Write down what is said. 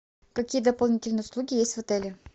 какие дополнительные услуги есть в отеле